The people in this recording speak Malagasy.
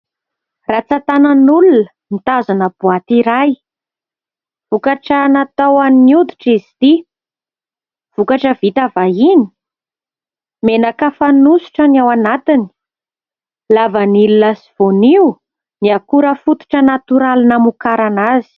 Ratsantanan'olona mitazona boaty iray. Vokatra natao amin'ny hoditra izy ity, vokatra vita vahiny, menaka fanosotra ny ao anatiny, lavanilina sy voanio ny akora fototra natoraly namokarana azy.